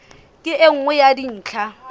ke e nngwe ya dintlha